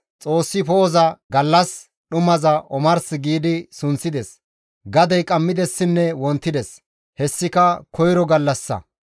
Xoossi poo7oza, «Gallas», dhumaza, «Omars» gi sunththides. Gadey qammidessinne wontides; hessika koyro gallassa.